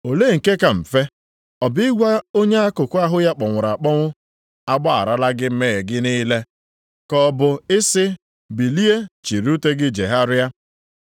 Olee nke ka mfe: ọ bụ ịgwa onye a akụkụ ahụ ya kpọnwụrụ akpọnwụ, ‘A gbagharala gị mmehie gị niile,’ ka ọ bụ i sị, ‘Bilie chịrị ute gị jegharịa?’